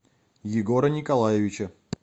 егора николаевича